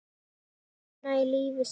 Ástina í lífi sínu.